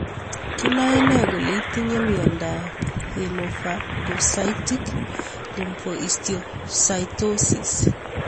Kinae nee kole itinye miondop hemophagocytic lymphohistiocytosis?